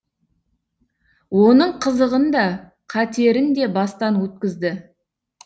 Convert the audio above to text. оның қызығын да қатерін де бастан өткізді